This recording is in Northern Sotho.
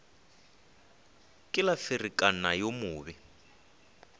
ke la ferekana yo mobe